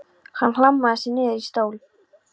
Hann hlammaði sér niður í stól.